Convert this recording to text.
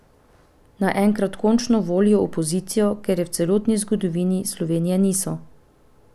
Naj enkrat končno volijo opozicijo, ker je v celotni zgodovini Slovenije niso.